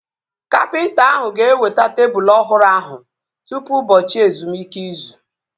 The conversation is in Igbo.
Kapịnta ahụ ga-eweta tebụl ọhụrụ ahụ tụpụ ụbọchị ezumike izu